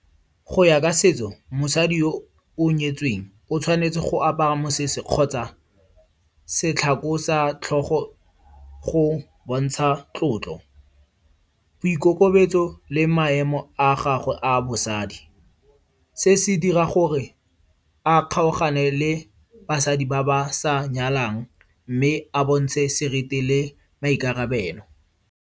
Go ya ka setso, mosadi yo o nyetsweng, o tshwanetse go apara mosese kgotsa setlhako sa tlhogo go bontsha tlotlo, boikokobetso le maemo a gagwe a bosadi. Se se dira gore a kgaogane le basadi ba ba sa nyalwang mme a bontshe seriti le maikarabelo.